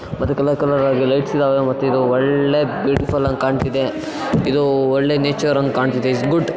ಮತ್ತೆ colour colour ಆಗಿ lights ಇದಾವೆ ಮತ್ ಇದು ಒಳ್ಳೆ ಬ್ಯೂಟಿಫುಲ್ ಅಂಗ್ ಕಾಣ್ತಿದೆ ಇದು ಒಳ್ಳೆ ನೇಚರ್ ಅಂಗ್ ಕಾಣ್ತಿದೆ ಇಸ್ ಗುಡ್.